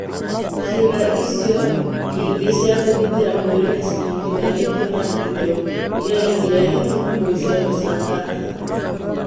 Ciĩga icio ĩngĩ cia kũgitĩra mwĩrĩ nĩ cinyitithanĩtio na indo iria ingĩrehe thumu kwĩ cero cia kansa